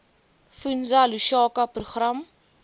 fundza lushaka program